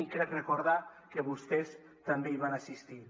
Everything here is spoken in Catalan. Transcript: i crec recordar que vostès també hi van assistir